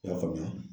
I y'a faamuya